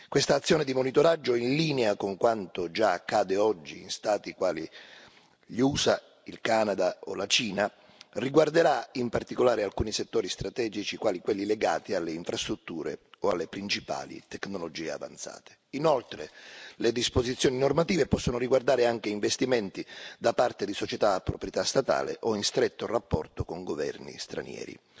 Questa azione di monitoraggio, in linea con quanto già accade oggi in Stati quali gli USA, il Canada o la Cina, riguarderà in particolare alcuni settori strategici quali quelli legati alle infrastrutture o alle principali tecnologie avanzate. Inoltre le disposizioni normative possono riguardare anche investimenti da parte di società a proprietà statale o in stretto rapporto con governi stranieri.